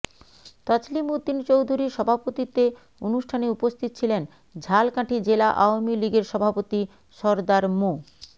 তছলিম উদ্দিন চৌধুরীর সভাপতিত্বে অনুষ্ঠানে উপস্থিত ছিলেন ঝালকাঠি জেলা আওয়ামী লীগের সভাপতি সরদার মো